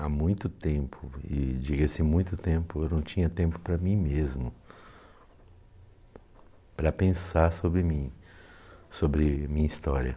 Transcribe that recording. Há muito tempo, e diga-se muito tempo, eu não tinha tempo para mim mesmo, para pensar sobre mim, sobre minha história.